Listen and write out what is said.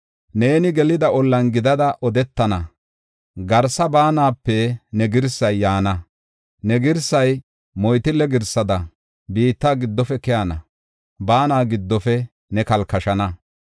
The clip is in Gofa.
Neeni gelida ollan gidada odetana; garsa baanape ne girsay yaana. Ne girsay moytille girsada biitta giddofe keyana; baana giddofe ne kalkashana.